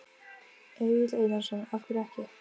Egill Einarsson: Af hverju ekki?